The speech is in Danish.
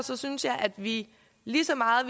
synes jeg at vi lige så meget